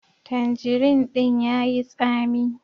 Tandirin din ya yi tsami.